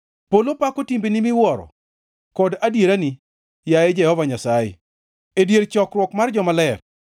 Polo pako timbeni miwuoro kod adierani, yaye Jehova Nyasaye, e dier chokruok mar jomaler.